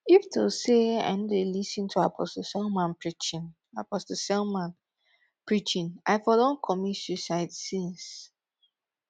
if to say i no dey lis ten to apostle selman preaching apostle selman preaching i for don commit suicide since